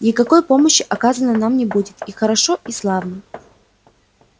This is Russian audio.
никакой помощи оказано нам не будет и хорошо и славно